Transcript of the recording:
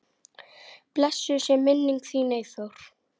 Blessuð sé minning þín, Eyþór.